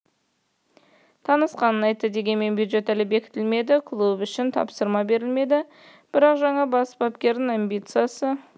танысқанын айтты дегенмен бюджет әлі бекітілмеді клуб үшін тапсырма берілмеді бірақ жаңа бас бапкердің амбициясы